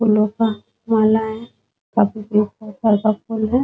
फूलो का मालाए है । काफी प्रकार के मालाएं है ।